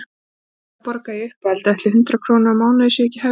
Og auðvitað borga ég uppihaldið, ætli hundrað krónur á mánuði sé ekki hæfilegt?